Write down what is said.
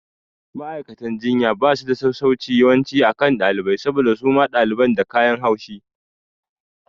Ma'aikatan jinya basu da sassauci yawanci akan ɗalibai saboda suma ɗalibai da kayan haushi